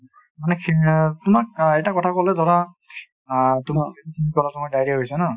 মানে তোমাক অ এটা কথা ক'লে ধৰা অ তোমাক diarrhea হৈছে ন